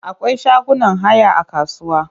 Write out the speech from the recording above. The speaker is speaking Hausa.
Akwai shagunan haya a kasuwa.